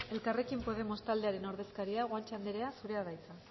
elkarrekin podemos taldearen ordezkaria guanche anderea zurea da hitza